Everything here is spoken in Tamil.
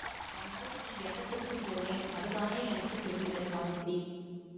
ஆனால் நீ என்னத்துக்குப் போனே அதுதானே எனக்கு தெரியலை சாவித்திரி